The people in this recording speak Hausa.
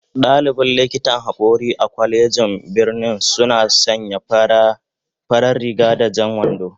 Dalibin likitan hakori a kwalejin birnin suna sanya farar riga da jan wando